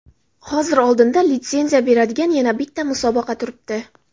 Hozir oldinda litsenziya beradigan yana bitta musobaqa turibdi.